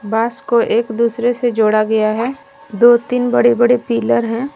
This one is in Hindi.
बांस को एक दूसरे से जोड़ा गया है दो तीन बड़े बड़े पिलर हैं।